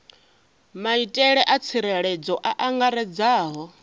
maitele a tsireledzo a angaredzaho